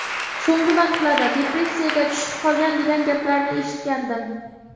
So‘nggi vaqtlarda depressiyaga tushib qolgan, degan gaplarni eshitgandim.